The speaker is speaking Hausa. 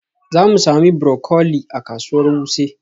Za mu sami broccoli a kasuwar Wuse.